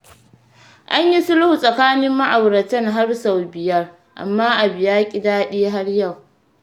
An yi sulhu tsakanin ma'auratan har sau biyar, amma abu ya ƙi daɗi har yau.